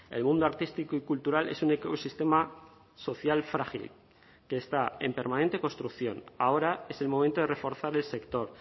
el mundo artístico y cultural es un ecosistema social frágil que está en permanente construcción ahora es el momento de reforzar el sector